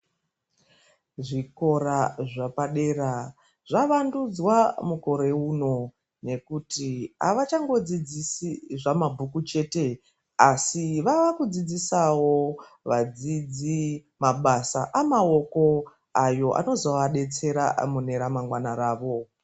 Zvikora zvepadera zvavandudzwa mukore uno ngekuti avachadsidzisi zvamabhukubchete asi vakudzidzisa vadzidzi mabasa amaoko ayo anozovadetsera ramangwana rawo.